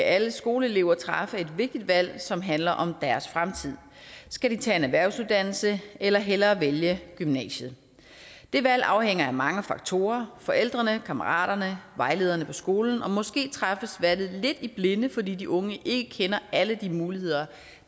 alle skoleelever træffe et vigtigt valg som handler om deres fremtid skal de tage en erhvervsuddannelse eller hellere vælge gymnasiet det valg afhænger af mange faktorer forældrene kammeraterne vejlederne på skolen måske træffes valget lidt i blinde fordi de unge ikke kender alle de muligheder